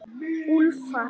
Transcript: Úlfar